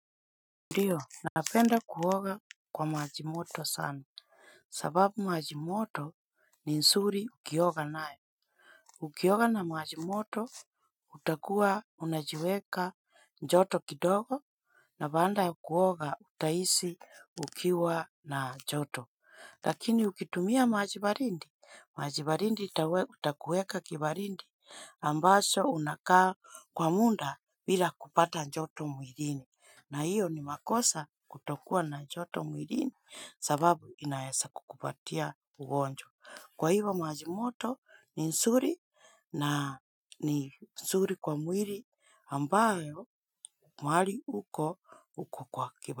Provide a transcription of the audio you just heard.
Ndiyo napenda kuoga kwa majimoto sana. Sababu majimoto ni nsuri ukioga nae. Ukioga na majimoto utakuwa unajiweka njoto kidogo. Na baada ya kuoga utahisi ukiwa na joto. Lakini ukitumia maji baridi, maji baridi itakuweka kibaridi ambacho unakaa kwa muda bila kupata joto mwilini. Na hiyo ni makosa kutokua na joto mwilini sababu inaweza kukupatia ugonjwa. Kwa hivyo maji moto ni nzuri na ni nzuri kwa mwili ambayo mahali uko uko kwa kiba.